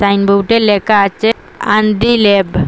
বোর্ডে লেকা আচে আন্ডি ল্যাব ।